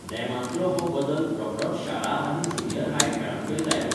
नेमांतलो हो बदल रोखडोच शाळा आनी ज्युनियर हाय खेळांकय लायलो.